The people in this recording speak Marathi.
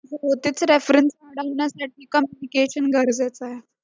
जर reference वाढवण्यासाठी पण communication गरजेचा आहे.